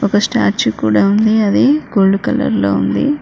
ఒక స్టాట్యూ కూడా ఉంది అది గోల్డ్ కలర్ లో ఉంది.